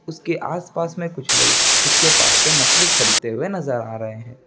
उसके आस-पास मे कुछ लोग उसके पास मे मछली खरीदते नजर आ रहे हैं।